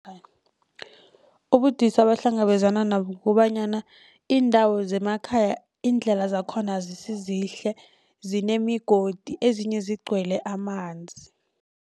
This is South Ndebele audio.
Ubudisi abahlangabezana nabo ukobanyana iindawo zemakhaya iindlela zakhona azisizihle zinemigodi ezinye zigcwele amanzi.